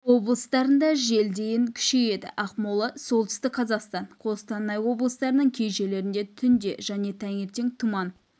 облыстарында жел дейін күшейеді ақмола солтүстік қазақстан қостанай облыстарының кей жерлерінде түнде және таңертең тұман